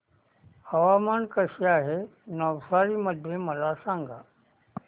हवामान कसे आहे नवसारी मध्ये मला सांगा